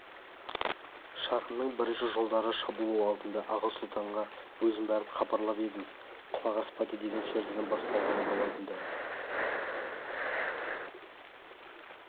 шағымның бірінші жолдары шабуыл алдында аға сұлтанға өзім барып хабарлап едім құлақ аспады деген сөздерден басталатын болады да